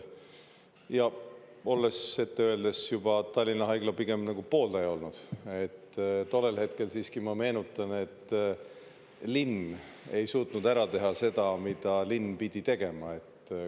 Olles ise – ette öeldes – juba pigem Tallinna Haigla pooldaja olnud, tollel hetkel siiski, ma meenutan, linn ei suutnud ära teha seda, mida linn pidi tegema.